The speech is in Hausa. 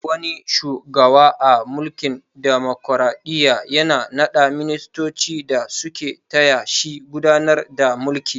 Duk wani shugawa a mulkin damokaraɗiyya yana na ɗa ministoci da su ke taya shi gudanar da mulki